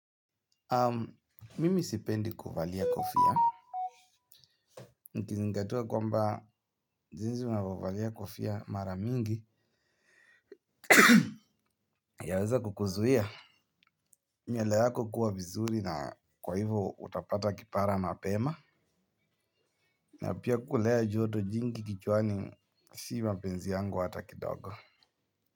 Mimi sipendi kuvalia kofia. Nikizingatia kwamba jinsi unavovalia kofia maramingi yaweza kukuzuia. Nywele yako kuwa vizuri na kwa hivo utapata kipara mapema. Na pia kulea joto jingi kichwani sii mapenzi yangu hata kidogo.